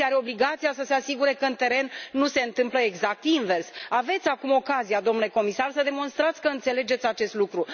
Comisia are obligația să se asigure că pe teren nu se întâmplă exact invers. Aveți acum ocazia, domnule comisar, să demonstrați că înțelegeți acest lucru.